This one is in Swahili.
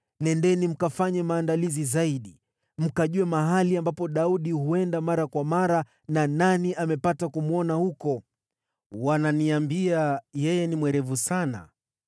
Nendeni mkafanye maandalizi zaidi. Mkajue mahali ambapo Daudi huenda mara kwa mara na nani amepata kumwona huko. Wananiambia yeye ni mwerevu sana.